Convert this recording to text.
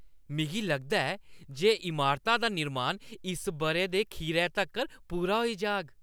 मिगी लगदा ऐ जे इमारता दा निर्माण इस बʼरे दे खीरै तक्कर पूरा होई जाह्ग।